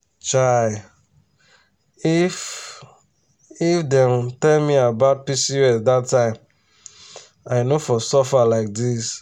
chai! if if dem um tell me about pcos that time i no for suffer like this.